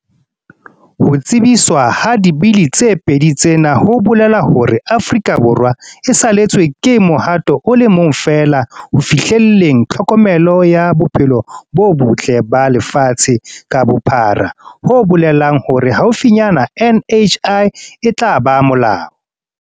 Ho tsebiswa ha Dibili tse pedi tsena ho bolela hore Aforika Borwa e salletswe ke mohato o le mong feela ho fihlelleng tlhokomelo ya bophelo bo botle ba lefatshe ka bophara ho bolelang hore haufinyana NHI e tla ba molao.